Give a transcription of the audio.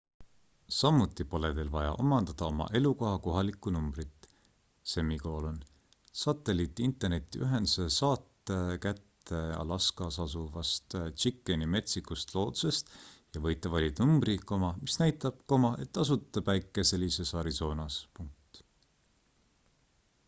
samuti pole teil vaja omandada oma elukoha kohalikku numbrit satelliit-internetiühenduse saate kätte alaskas asuvast chickeni metsikust loodusest ja võite valida numbri mis näitab et asute päikeselises arizonas